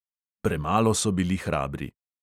Premalo so bili hrabri.